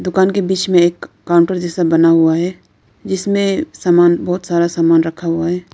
दुकान के बीच में एक काउंटर जैसा बना हुआ है जिसमें सामान बहोत सारा सामान रखा हुआ है।